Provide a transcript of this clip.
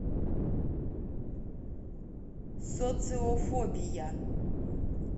социофобия